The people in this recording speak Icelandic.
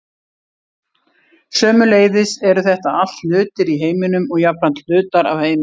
sömuleiðis eru þetta allt hlutir í heiminum og jafnframt hlutar af heiminum